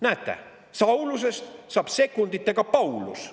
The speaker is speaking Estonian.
Näete, Saulusest saab sekunditega Paulus!